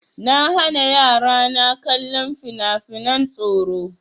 Na hana yara na kallon fina-finan tsoro.